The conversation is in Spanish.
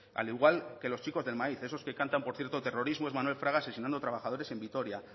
al igual que los chikos del maíz esos que cantan por cierto terrorismo es manuel fraga asesinando trabajadores en vitoria